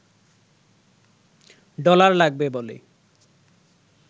dollar লাগবে বলে